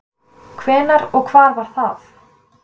hvenær og hvar var það